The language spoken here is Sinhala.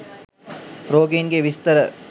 රෝගීන්ගේ විස්තර